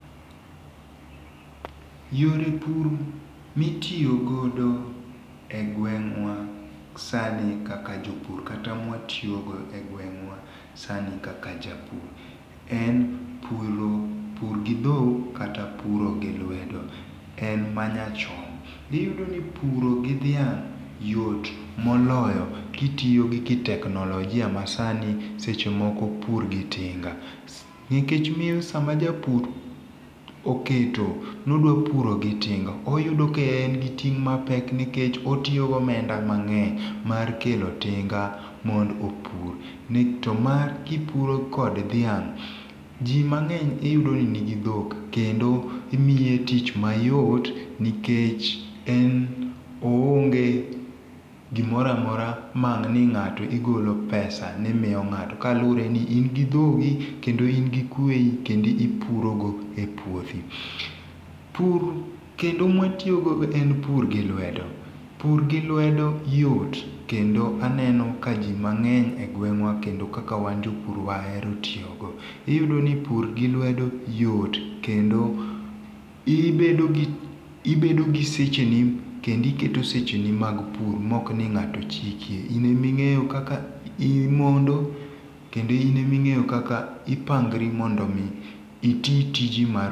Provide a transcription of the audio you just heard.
Yore pur mitiyo godo e gweng'wa sani kaka jopur kata mawatiyo godo e gweng'wa kaka japur, en puro gi dhok kata lwedo en manyachon, iyudo ni puro gi dhiang yot moloyo kitiyo gi kiteknologia masani seche moko pur gi tinga ,nikech miyo sama japur oketo nidwa puro gi tinga oyudo ka en gi ting mapek nikech otiyo gomenda mang'eny mar kelo tinga mondo opur to ma kipuro kod dhiang',ji mangeny iyudo ni nigi dhok kendo imiye tich mayot nikech en oonge gimoro amora maang ni ng'ato igolo pesa ni imiyo ngato kendo in gi dhogi kendo in gi kweyi kendo ipuro go e puothi. Pur kendo mwatiyo go en pur gi lwedo ,pur gi lwedo yot kendo aneno ka ji mang'eny e gwengwa kendo kaka wan jopur wahero tiyogo, iyudo ni pur gi lwedo yot kendo ibedo gi secheni kendo iketo seche ni mag pur ma ok ni ng'ato chiki ,in ema ing'eyo kaka imondo kendo in ema ingeyo kaka ipangori mondo mi iti tiji.